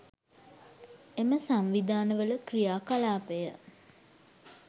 එම සංවිධානවල ක්‍රියා කලාපය